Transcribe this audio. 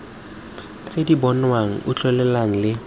tse di bonwang utlwelelwang le